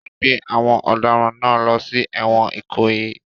Wọ́n gbé àwọn ọ̀daràn náà lọ sí ẹ̀wọ̀n Ikoyi